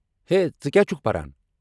ہے، ژٕ کیٛاہ چھٗکھ پران؟